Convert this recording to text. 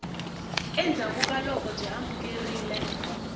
endzhaku ka loko byi amukerile